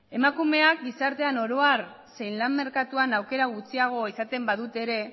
emakumeak gizartean oro har zein lan merkatuan aukera gutxiago izaten badute ere